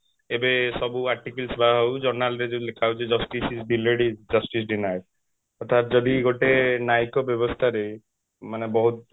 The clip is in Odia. ଏବେ ସବୁ articles ହଉ journal ରେ ଯୋଉ ଲେଖା ଯାଉଛି justice delayed is justice denied ତ ଯଦି ଗୋଟେ ନ୍ୟାୟିକ ବ୍ୟବସ୍ଥା ରେ ମାନେ ବହୁତ